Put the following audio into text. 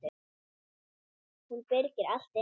Hún byrgir allt inni.